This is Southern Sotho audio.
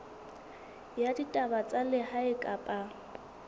ya ditaba tsa lehae kapa